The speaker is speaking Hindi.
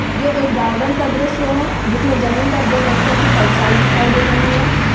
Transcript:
ये एक गार्डेन का दृश्य है जिसमें जमीन पर दो व्यक्तियों की परछाई दिखाई दे रही है।